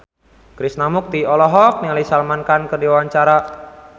Krishna Mukti olohok ningali Salman Khan keur diwawancara